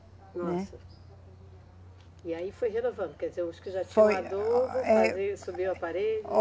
Nossa. Né. E aí foi renovando, quer dizer, os que já tinham adubo, faziam, subiam a parede.